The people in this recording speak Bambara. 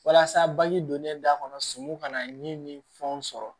Walasa baji donnen da kɔnɔ sun ka na ni fɛnw sɔrɔ